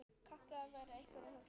kallaði einhver hugaður maður.